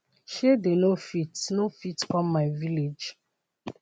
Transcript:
shey dey no fit no fit come my village